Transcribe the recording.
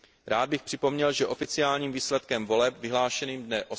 Rád bych připomněl, že oficiálním výsledkem voleb vyhlášeným dne